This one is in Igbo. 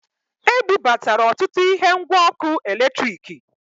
E bubatara ọtụtụ ihe ngwa ọkụ eletriki